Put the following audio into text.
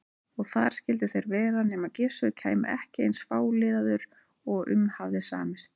Og þar skyldu þeir vera nema Gissur kæmi ekki eins fáliðaður og um hafði samist.